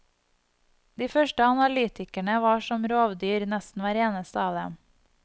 De første analytikerne var som rovdyr, nesten hver eneste av dem.